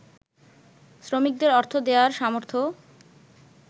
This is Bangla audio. শ্রমিকদের অর্থ দেয়ার সামর্থ্য